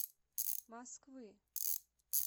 москвы